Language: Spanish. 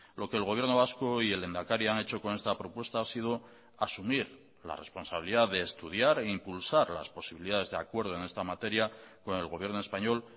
lo que el gobierno vasco y el lehendakari han hecho con esta propuesta ha sido asumir la responsabilidad de estudiar e impulsar las posibilidades de acuerdo en esta materia con el gobierno español